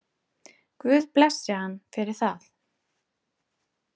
Guð blessi hann fyrir það.